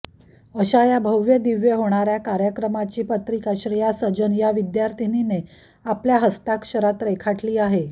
अशा या भव्यदिव्य होणाऱ्या कार्यक्रमाची पत्रिका श्रेया सजन या विद्यार्थीनीने आपल्या हस्ताक्षरात रेखाटली आहे